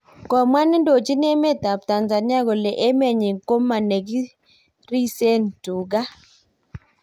Komwa nedoji emet ap tanzania kole emenyi koma nekirisen tugan